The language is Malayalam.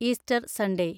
Easter Sunday